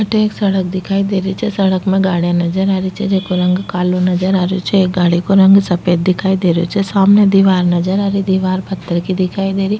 अठे एक सड़क दिखाई देरही छे सड़क मे गाड़िया नजर आ रही छे जेको रंग कालो नजर आ रहे छे एक गाड़ी को रंग सफ़ेद दिखाई देरही छे सामने दिवार नजर आ रही दिवार पत्थर की दिखाई देरही।